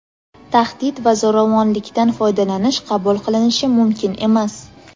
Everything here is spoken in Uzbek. tahdid va zo‘ravonlikdan foydalanish qabul qilinishi mumkin emas.